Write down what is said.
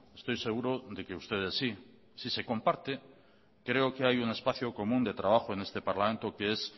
estoy seguro de que ustedes sí si se comparte creo que hay un espacio común de trabajo en este parlamento que es